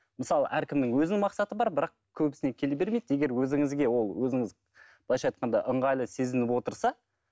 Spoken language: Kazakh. мысалы әркімнің өзінің мақсаты бар бірақ көбісіне келе бермейді егер өзіңізге ол өзіңіз былайша айтқанда ыңғайлы сезініп отырса